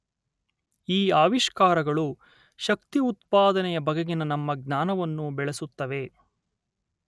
ಈ ಆವಿಷ್ಕಾರಗಳು ಶಕ್ತಿ ಉತ್ಪಾದನೆಯ ಬಗೆಗಿನ ನಮ್ಮ ಜ್ಞಾನವನ್ನು ಬೆಳೆಸುತ್ತವೆ.